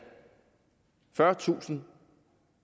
fyrretusind